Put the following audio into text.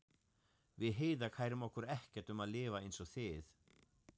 Við Heiða kærum okkur ekkert um að lifa einsog þið.